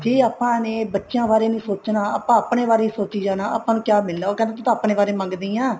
ਜੇ ਆਪਾਂ ਨੇ ਬੱਚਿਆਂ ਬਾਰੇ ਨੀ ਸੋਚਣਾ ਆਪਾਂ ਆਪਣੇ ਬਾਰੇ ਹੀ ਸੋਚੀ ਜਾਣਾ ਆਪਾਂ ਨੂੰ ਕਿਆ ਮਿਲਣਾ ਉਹ ਕਹਿੰਦੀ ਤੂੰ ਆਪਣੇ ਬਾਰੇ ਮੰਗਦੀ ਹਾਂ